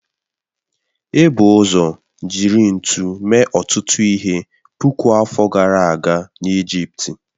Ebu ụzọ jiri ntu mee ọtụtụ ihe puku afọ gara aga n'Ijipt